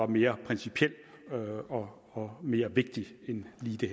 mere principiel og og mere vigtig end lige det